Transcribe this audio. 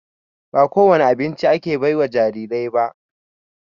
Ba ko wani abinci ake baiwa jarirai ba.